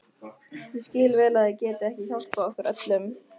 Ég skil vel að þið getið ekki hjálpað okkur öllum.